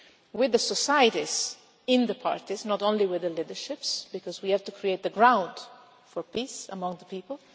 with the societies in the parties, not only with the leaderships, because we have to create the ground for peace among the people